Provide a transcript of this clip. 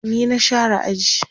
ni na share aji